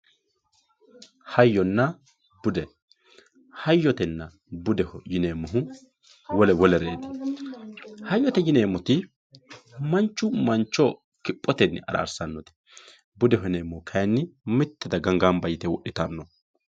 Hayyonna bude, hayyonna bude yineemmo woyte wole wolereti hayyote yineemmoti manchu mancho kiphotenni ararsano budu kayinni mite daga gamba yte wodhittanoho.